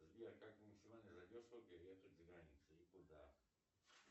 сбер как максимально за дешево переехать за границу и куда